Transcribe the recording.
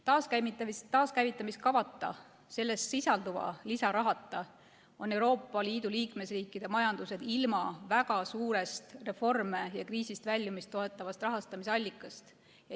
Taaskäivitamiskavata, selles sisalduva lisarahata on Euroopa Liidu liikmesriikide majandus ilma väga suurest reforme ja kriisist väljumist toetavast rahastamise allikast.